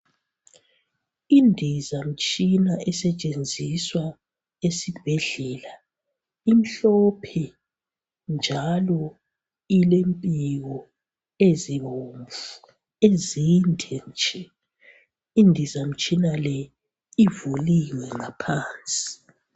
Indizamtshina esetshenziswa esibhedlela imhlophe njalo ilempiko ezibomvu ezinde nje. Indizamtshina le ivuliwe ngaphansi.